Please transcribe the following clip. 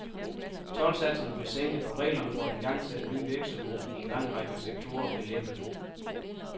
Toldsatserne blev sænket og reglerne for at igangsætte nye virksomheder i en lang række sektorer blev lempet.